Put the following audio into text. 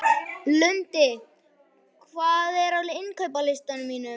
Lundi, hvað er á innkaupalistanum mínum?